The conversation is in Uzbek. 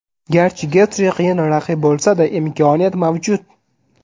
Garchi Getji qiyin raqib bo‘lsa-da, imkoniyat mavjud.